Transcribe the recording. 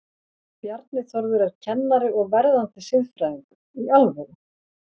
Bjarni Þórður er kennari og verðandi siðfræðingur, í alvöru?